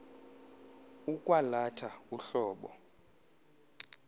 ukwa latha uhlobo